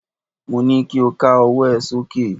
Mo ní kí o ká ọwọ́ ẹ sókè!